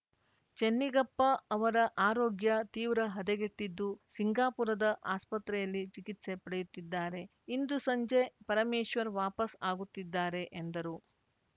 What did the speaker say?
ಚೆನ್ನಿಗಪ್ಪ ಅವರ ಆರೋಗ್ಯ ತೀವ್ರ ಹದಗೆಟ್ಟಿದ್ದು ಸಿಂಗಾಪುರದ ಆಸ್ಪತ್ರೆಯಲ್ಲಿ ಚಿಕಿತ್ಸೆ ಪಡೆಯುತ್ತಿದ್ದಾರೆ ಇಂದು ಸಂಜೆ ಪರಮೇಶ್ವರ್‌ ವಾಪಸ್‌ ಆಗುತ್ತಿದ್ದಾರೆ ಎಂದರು